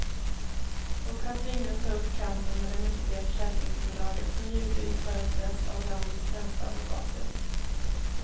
Och han tvingas ta upp kampen med det mäktiga försäkringsbolaget, som givetvis företräds av landets främsta advokater.